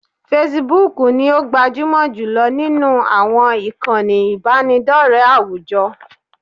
Facebook ni o gbajúmọ̀ jùlọ nínú àwọn ìkànnì ìbánidọ́rẹ̀ẹ́ àwùjọ